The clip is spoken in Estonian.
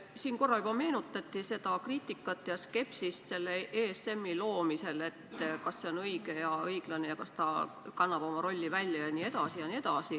Siin korra juba meenutati seda kriitikat ja skepsist ESM-i loomisel, et kas see on õige ja õiglane, kas ta kannab oma rolli välja jne.